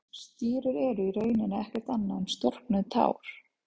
Stírur eru í rauninni ekkert annað en storknuð tár.